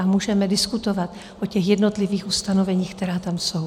A můžeme diskutovat o těch jednotlivých ustanoveních, která tam jsou.